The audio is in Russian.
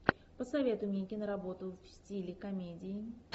посоветуй мне киноработу в стиле комедии